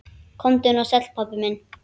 Komdu nú sæll, pabbi minn.